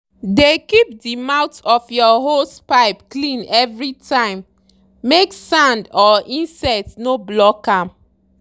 dey keep the mouth of your hosepipe clean everytimemake sand or insect no block am.